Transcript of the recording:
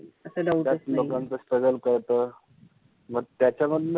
त्यात लोकांचं struggle कळतं. म त्याच्यावरुन,